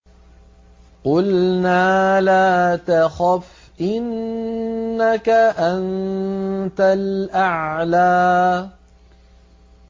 قُلْنَا لَا تَخَفْ إِنَّكَ أَنتَ الْأَعْلَىٰ